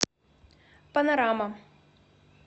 панорама